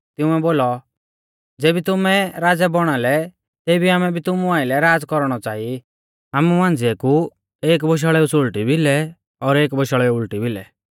तिंउऐ बोलौ ज़ेबी तुमै राज़ै बौणा लै तेबी आमै भी तुमु आइलै राज़ कौरणौ च़ांई आमु मांझ़िऐ कु एक बोशाल़ेउ सुल़टी भिलै और एक बोशाल़ेउ उल़टी भिलै